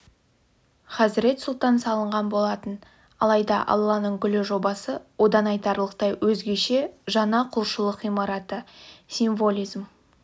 хазырет сұлтан салынған болатын алайда алланың гүлі жобасы одан айтарлықтай өзгеше жаңа құлшылық ғимараты символизм